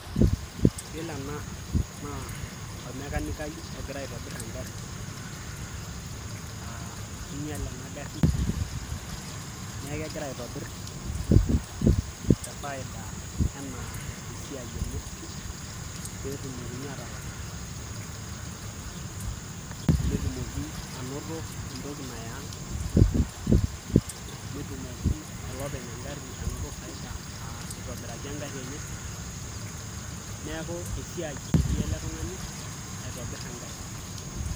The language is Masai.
Yiolo ena naa ormekanikai ogira aitobirr engarri aa kinyiale ena garrii neeku kegira aitobirr te faida enaa esiai enye peyie etumokini aatalak netumoki anoto entoki naya aang', netum olopeny engarri anoto faida aa itobiraki engarri enye, neeku esiai etii ele tung'ani egira aitobirr engarri.